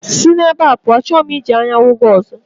Si na ebá pụọ, achọghị m iji anya hụ gị ọzọ